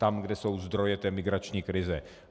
Tam, kde jsou zdroje té migrační krize.